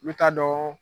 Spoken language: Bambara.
N bɛ taa dɔn